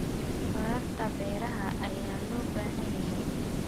curaarta beeraha ayaa loo baahan yahay.